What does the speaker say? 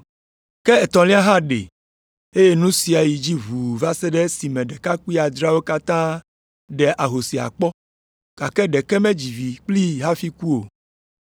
Ke etɔ̃lia hã ɖee, eye nu sia yi edzi ʋuu va se ɖe esime ɖekakpui adreawo katã ɖe ahosia kpɔ, gake ɖeke medzi vi kplii hafi ku o.